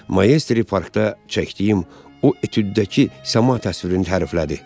Maestri parkda çəkdiyim o etüddəki səma təsvirini təriflədi.